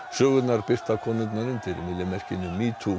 sögurnar birta konurnar undir myllumerkinu